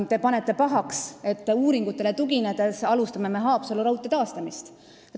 Te panete pahaks, et me uuringutele tuginedes alustame Haapsalu raudtee taastamist.